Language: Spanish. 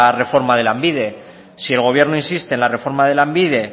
reforma de lanbide si el gobierno insiste en la reforma de lanbide